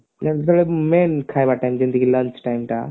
main ଖାଇବା time ଯେମତିକି lunch time ଟା